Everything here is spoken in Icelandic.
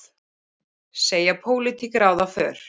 Segja pólitík ráða för